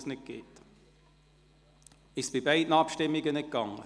Funktionierte es bei beiden Abstimmungen nicht?